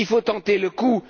Il faut tenter le coup.